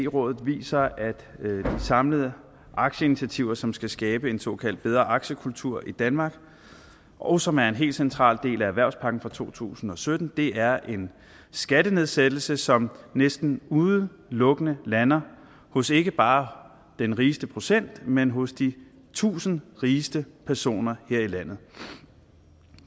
rådet viser at de samlede aktieinitiativer som skal skabe en såkaldt bedre aktiekultur i danmark og som er en helt central del af erhvervspakken fra to tusind og sytten er en skattenedsættelse som næsten udelukkende lander hos ikke bare den rigeste procentdel men hos de tusind rigeste personer her i landet